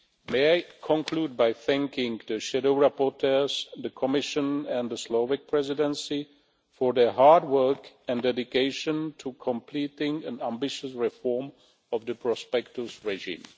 May I conclude by thanking the shadow rapporteurs, the Commission and the Slovak Presidency for their hard work and dedication to completing an ambitious reform of the prospectus regime.